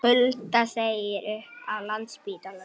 Hulda segir upp á Landspítalanum